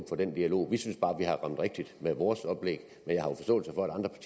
for den dialog vi synes bare vi har ramt rigtigt med vores oplæg men